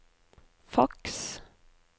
faks